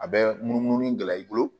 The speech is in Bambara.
A bɛ munumunu gɛlɛya i bolo